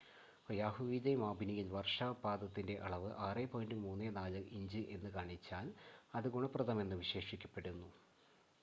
"ഒയാഹുവിലെ മാപിനിയിൽ വർഷപാതത്തിന്റെ അളവ് 6.34 ഇഞ്ച് എന്ന് കാണിച്ചാൽ, അത് "ഗുണപ്രദം" എന്ന് വിശേഷിപ്പിക്കപ്പെടുന്നു.